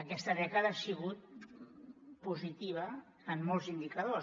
aquesta dècada ha sigut positiva en molts indicadors